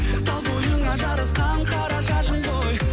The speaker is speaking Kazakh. тал бойыңа жарасқан қара шашың ғой